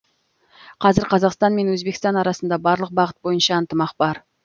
қазір қазақстан мен өзбекстан арасында барлық бағыт бойынша ынтымақ бар